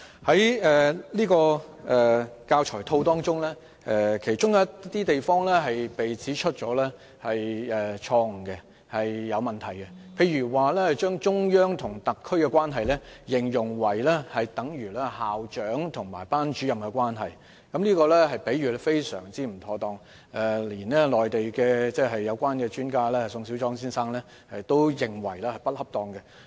在新編製的教材套當中，有些地方被指出錯、有問題，例如將中央和特區關係形容為等於校長和班主任的關係，這種比喻非常不恰當，連內地有關專家宋小莊先生也認為是不恰當的。